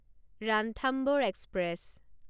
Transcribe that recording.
Ranthambore express